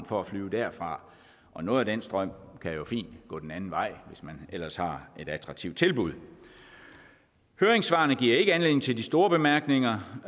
for at flyve derfra og noget af den strøm kan jo fint gå den anden vej hvis man ellers har et attraktivt tilbud høringssvarene giver ikke anledning til de store bemærkninger